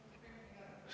See viimane nüüd jääb ära.